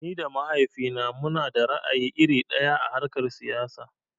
Ni da mahaifina munada ra'ayi iri ɗaya a harkar siyasa.